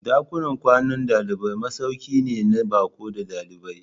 Dakunan kwanan dalibai masauki ne na baƙo da ɗalibai.